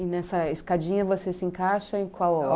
E nessa escadinha você se encaixa em qual?